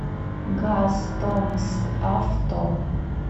газтомскавто